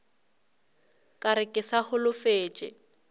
ka re ke sa holofetše